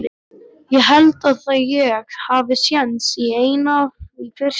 Ég held að ég hafi séns í eina í frystihúsinu.